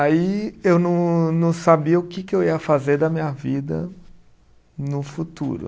Aí eu não não sabia o que que eu ia fazer da minha vida no futuro.